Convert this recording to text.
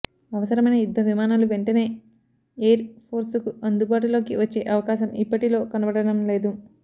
అవసరమైన యుద్ధవిమానాలు వెంటనే ఎయిర్ ఫోర్సుకు అందుబాటులోకి వచ్చే అవకాశం ఇప్పటిలో కనబడడం లేదు